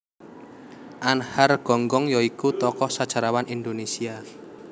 Anhar Gonggong ya iku tokoh sejarawan Indonésia